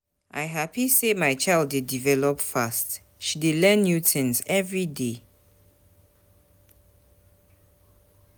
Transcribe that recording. I hapi sey my child dey develop fast, she dey learn new things every day.